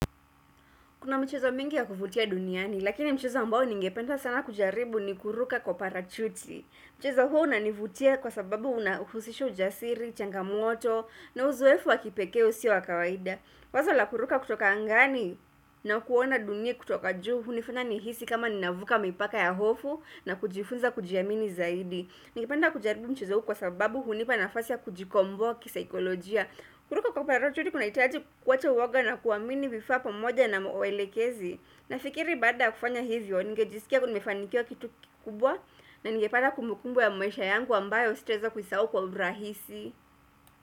Kuna mchezo mingi ya kuvutia duniani, lakini mchezo ambao ningenda sana kujaribu ni kuruka kwa parachuti. Mchezo huo unanivutia kwa sababu unahusisha ujasiri, changamoto, na uzoefu wakipekee usio wa kawaida. Wazo la kuruka kutoka angani na kuona dunia kutoka juu, hunifanya nihisi kama ninavuka mipaka ya hofu na kujifunza kujiamini zaidi. Ningependa kujaribu mchezo huu kwa sababu hunipa nafasi ya kujikomboa kisaikolojia. Kuruka kwa parachuti kuna hitaji kuwacha uwoga na kuamini vifaa pamoja na mwelekezi. Nafikiri baada ya kufanya hivyo, ningejisikia nimefanikia kitu kikubwa na ngepata kumbukumbu ya maisha yangu ambayo sitaeza kuisau kwa urahisi.